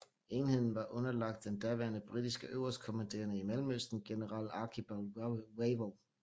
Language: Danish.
Enheden var underlagt den daværende britiske øverstkommanderende i Mellemøsten general Archibald Wavell